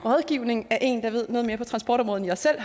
rådgivning af en der ved noget mere på transportområdet end jeg selv